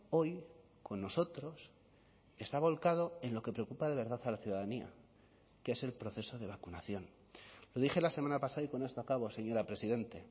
hoy con nosotros está volcado en lo que preocupa de verdad a la ciudadanía que es el proceso de vacunación lo dije la semana pasada y con esto acabo señora presidente